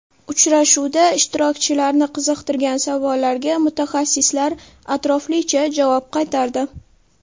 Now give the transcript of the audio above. Uchrashuvda ishtirokchilarni qiziqtirgan savollarga mutaxassislar atroflicha javob qaytardi.